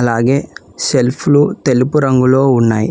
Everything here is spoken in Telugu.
అలాగే సెల్ఫ్లు తెలుపు రంగులో ఉన్నాయి